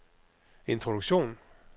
introduktion